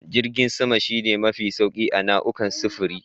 Jirgin sama shi ne mafi sauri a nau'ukan sufuri.